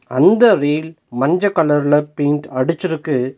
அந்த ரேல் மஞ்ச கலர்ல பெயிண்ட் அடுச்சுருக்கு.